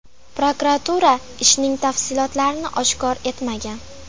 Prokuratura ishning tafsilotlarini oshkor etmagan.